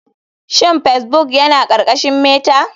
Shin facebbok yana ƙarƙashin meta?